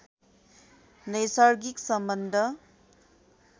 नैसर्गिक सम्बन्ध